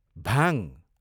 भाङ